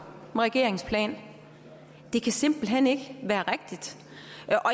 med regeringens plan det kan simpelt hen ikke være rigtigt